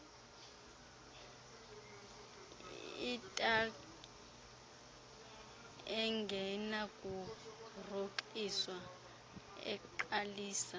italaq engenakurhoxiswa eqalisa